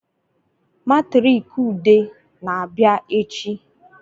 Matriki Ude na-abịa echi